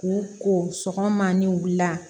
K'u ko sɔgɔma ni wula